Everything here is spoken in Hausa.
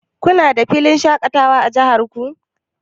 Kuna da filin shaƙatawa a jihar ku?